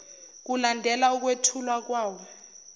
kulandela ukwethulwa kwawo